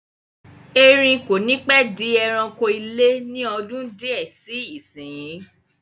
Erin kò ní pẹ́ di ẹranko ilé ni ọdún di ẹ síí isinyi